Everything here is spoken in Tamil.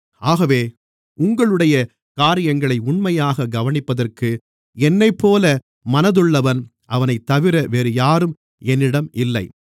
ஆகவே உங்களுடைய காரியங்களை உண்மையாகக் கவனிப்பதற்கு என்னைப்போல மனதுள்ளவன் அவனைத்தவிர வேறுயாரும் என்னிடம் இல்லை